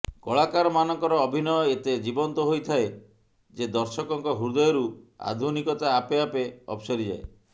କଳାକାରମାନଙ୍କର ଅଭିନୟ ଏତେ ଜୀବନ୍ତ ହୋଇଥାଏ ଯେ ଦର୍ଶକଙ୍କ ହୃଦୟରୁ ଆଧୁନିକତା ଆପେ ଆପେ ଅପସରିଯାଏ